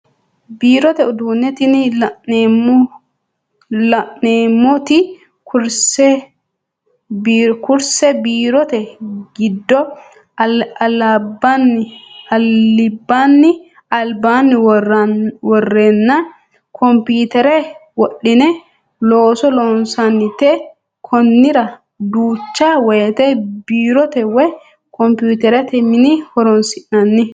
Birrote uduune tini la'neemoti kurisebbiirote gido alibanni worena komputere wodhine looso loonsanite koniranno duucha woyite biirote woyi komputerete mine horonsinanni